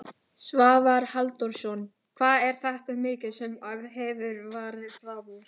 Svavar Halldórsson: Hvað er þetta mikið sem að hefur farið framúr?